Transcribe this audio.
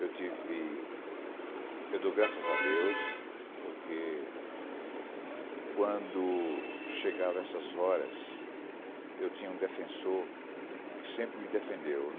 Eu tive... Eu dou graças a Deus, porque quando chegavam essas horas, eu tinha um defensor que sempre me defendeu.